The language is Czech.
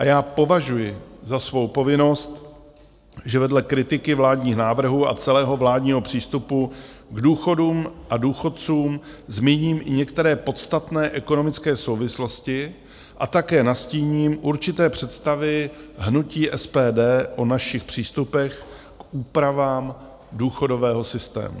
A já považuji za svou povinnost, že vedle kritiky vládních návrhů a celého vládního přístupu k důchodům a důchodcům zmíním i některé podstatné ekonomické souvislosti a také nastíním určité představy hnutí SPD o našich přístupech k úpravám důchodového systému.